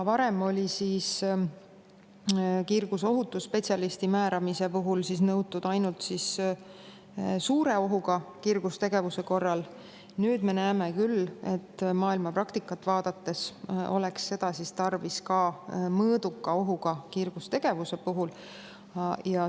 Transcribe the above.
Varem oli kiirgusohutusspetsialisti määramine nõutud ainult suure ohuga kiirgustegevuse korral, nüüd me aga näeme maailma praktikat vaadates, et seda oleks tarvis ka mõõduka ohuga kiirgustegevuse puhul.